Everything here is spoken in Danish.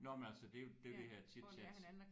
Nåh men altså det er jo det er jo det her chitchat